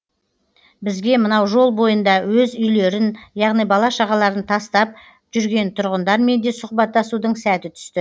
бізге мынау жол бойында өз үйлерін яғни бала шағаларын тастап жүрген тұрғындармен де сұхбаттасудың сәті түсті